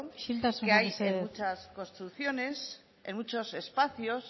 isiltasuna mesedez que hay en muchas construcciones en muchos espacios